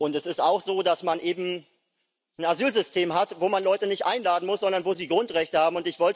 Und es ist auch so, dass man eben ein Asylsystem hat, wo man Leute nicht einladen muss, sondern wo sie Grundrechte haben.